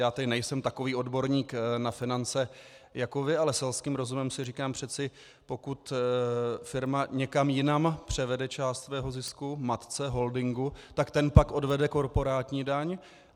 Já tedy nejsem takový odborník na finance jako vy, ale selským rozumem si říkám, přeci pokud firma někam jinam převede část svého zisku - matce, holdingu -, tak ten pak odvede korporátní daň.